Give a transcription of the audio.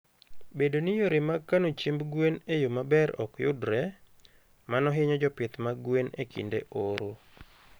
Bedo ni yore mag kano chiemb gwen e yo maber ok yudre, mano hinyo jopith mag gwen e kinde oro.